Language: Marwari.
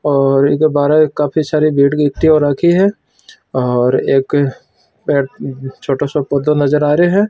और इक बारे काफी सारी भीड़ इकट्ठी हो राखी है और एक पेड़ छोटो सो पौधो नजर आ रहियो है।